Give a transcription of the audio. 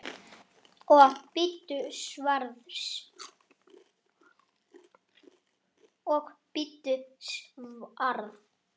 Og bíddu svars.